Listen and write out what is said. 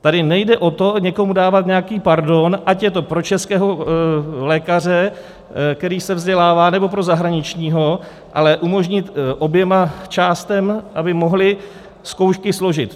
Tady nejde o to někomu dávat nějaký pardon, ať je to pro českého lékaře, který se vzdělává, nebo pro zahraničního, ale umožnit oběma částem, aby mohly zkoušky složit.